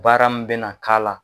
Baara min bɛna k'a la.